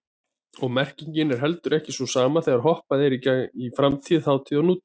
Og merkingin er heldur ekki sú sama þegar hoppað er í framtíð, þátíð og nútíð.